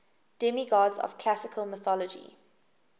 demigods of classical mythology